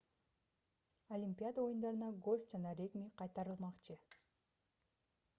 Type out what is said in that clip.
олимпиада оюндарына гольф жана регби кайтарылмакчы